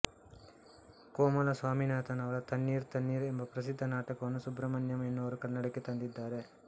ಕೋಮಲಸ್ವಾಮಿನಾಥನ್ ಅವರ ತಣ್ಣೀರ್ ತಣ್ಣೀರ್ ಎಂಬ ಪ್ರಸಿದ್ಧ ನಾಟಕವನ್ನು ಸುಬ್ರಹ್ಮಣ್ಯಂ ಎನ್ನುವವರು ಕನ್ನಡಕ್ಕೆ ತಂದಿದ್ದಾರೆ